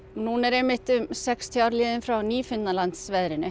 núna eru einmitt um sextíu ár liðin frá